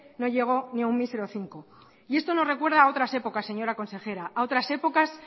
no llegó ni aun mísero cinco y esto nos recuerda a otras épocas señora consejera a otras épocas